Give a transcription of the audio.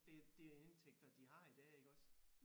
Det det indtægter de har i dag iggås